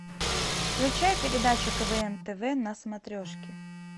включай передачу квн тв на смотрешке